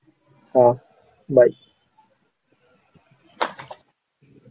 ஆஹ் bye